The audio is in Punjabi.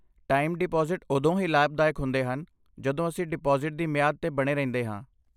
ਟਾਈਮ ਡਿਪਾਜ਼ਿਟ ਉਦੋਂ ਹੀ ਲਾਭਦਾਇਕ ਹੁੰਦੇ ਹਨ ਜਦੋਂ ਅਸੀਂ ਡਿਪਾਜ਼ਿਟ ਦੀ ਮਿਆਦ 'ਤੇ ਬਣੇ ਰਹਿੰਦੇ ਹਾਂ।